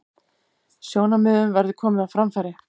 Sjónarmiðum verði komið á framfæri